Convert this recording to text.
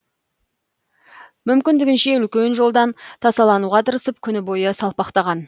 мүмкіндігінше үлкен жолдан тасалануға тырысып күні бойы салпақтаған